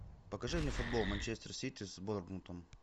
покажи мне футбол манчестер сити с борнмутом